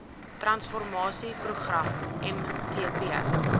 transformasie program mtp